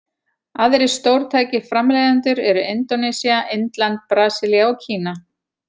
Aðrir stórtækir framleiðendur eru Indónesía, Indland, Brasilía og Kína.